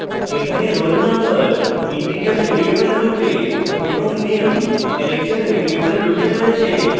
এখানে roll _ no integer variable রূপে এবং name ক্যারেক্টার ভ্যারিয়েবল রূপে রয়েছে